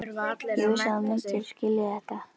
Ég vissi að þú myndir skilja þetta.